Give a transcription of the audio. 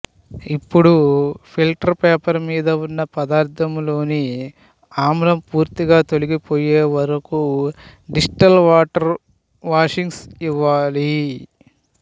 ఇప్పుడు filter paper మీద వున్న పదార్థములోని ఆమ్లం పూర్తిగా తొలగి పొయ్యేవరకు డిస్టిల్ వాటరు వాషింగ్సు ఇవ్వాలి